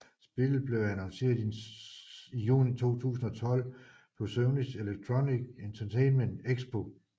Spillet blev annonceret i juni 2012 på Sonys Electronic Entertainment Expo